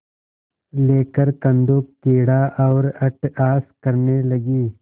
लेकर कंदुकक्रीड़ा और अट्टहास करने लगी